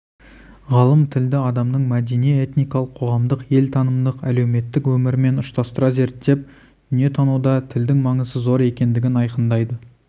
ғалым тілді адамның мәдени этникалық қоғамдық елтанымдық әлеуметтік өмірімен ұштастыра зерттеп дүниетануда тілдің маңызы зор екендігін айқындайды